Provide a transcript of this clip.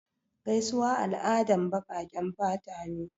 Gaisuwa al'adan baƙaƙen fata ne.